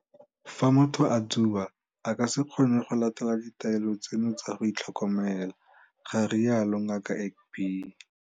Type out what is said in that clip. Fa motho a tsuba, a ka se kgone go latela ditaelo tseno tsa go itlhokomela, ga rialo Ngaka Egbe.